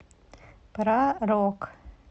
про рок